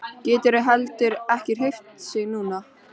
Getur heldur ekki hreyft sig núna.